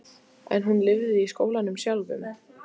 En hún lifði í skólanum sjálfum.